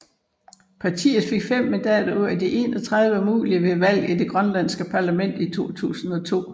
Partiet fik 5 mandater ud af 31 mulige ved valget til det grønlandske parlament i 2002